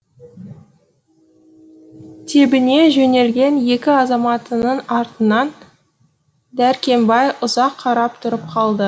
тебіне жөнелген екі азаматының артынан дәркембай ұзақ қарап тұрып қалды